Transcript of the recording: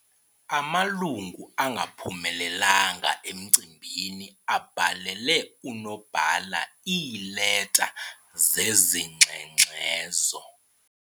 Amalungu angaphumelelanga emcimbini abhalele unobhala iileta zezingxengxezo.